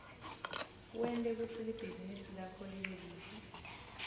wente kutsi libhizinisi lakho libe lihle